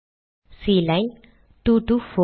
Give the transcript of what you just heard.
Kline 2 டோ 4